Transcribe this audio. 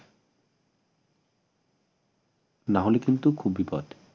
না হলে কিন্তু খুব বিপদ